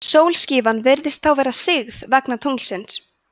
sólskífan virðist þá vera sigð vegna tunglsins